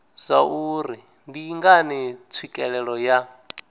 zwauri ndi ngani tswikelelo ya